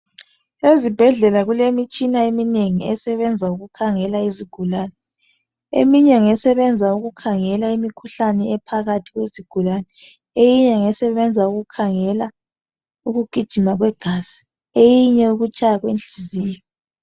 Ezibhedlela kulemitshina eminengi esebenza ukukhangela iizgulane. Eminye ngesebenza ukukhangela imikhuhlane ephakathi kwezigulane. Eyinye ngesebenza ukukhangela ukugijima kwegazi. Eyinye ukutshaya kwenhliziyo.